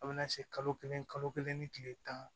A bɛ na se kalo kelen kalo kelen ni tile tan